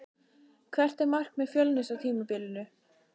Hvert er markmið Fjölnis á tímabilinu?